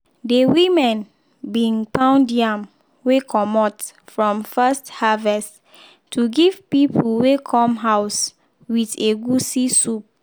de women bin pound yam wey comot from first harvest to give people wey come house with egwusi soup.